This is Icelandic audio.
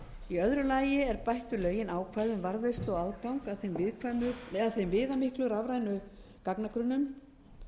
í öðru lagi er bætt við lögin ákvæði um varðveislu og aðgang að þeim viðamiklu rafrænu gagnagrunnum